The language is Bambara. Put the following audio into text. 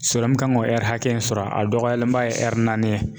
kan k'o hakɛya in sɔrɔ a dɔgɔyalenba ye naani ye.